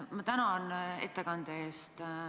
Ma tänan ettekande eest!